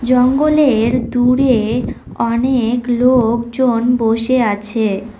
জঙ্গলের দূরে অনেক লোক জন বসে আছে।